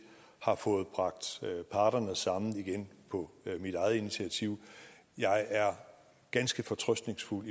har fået bragt parterne sammen igen på mit eget initiativ jeg er ganske fortrøstningsfuld